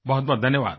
बहुतबहुत धन्यवाद